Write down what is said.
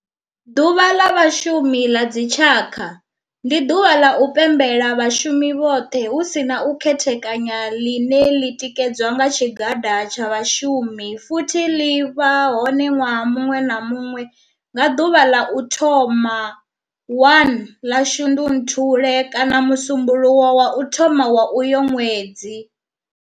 Ḓuvha la Vhashumi la dzi tshaka, ndi duvha la u pembela vhashumi vhothe hu si na u khethekanya line li tikedzwa nga tshigada tsha vhashumi futhi li vha hone nwaha munwe na munwe nga duvha la u thoma 1 la Shundunthule kana musumbulowo wa u thoma kha uyo nwedzi.